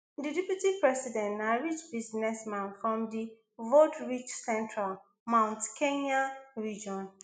di deputy president na rich businessman from di voterich central mount kenya region